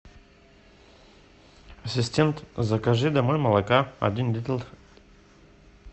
ассистент закажи домой молока один литр